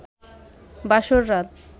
বাসর রাত